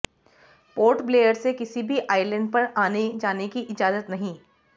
port Blair से किसी भी आईलैंड पर आने जाने की इजाजत नहीं